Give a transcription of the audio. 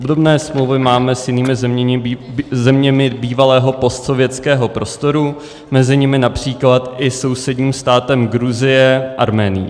Obdobné smlouvy máme s jinými zeměmi bývalého postsovětského prostoru, mezi nimi například i sousedním státem Gruzie, Arménií.